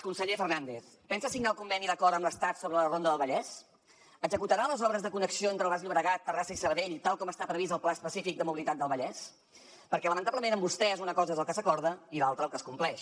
conseller fernàndez pensa signar el conveni d’acord amb l’estat sobre la ronda del vallès executarà les obres de connexió entre el baix llobregat terrassa i sabadell tal com està previst al pla específic de mobilitat del vallès perquè lamentablement amb vostès una cosa és el que s’acorda i l’altra el que es compleix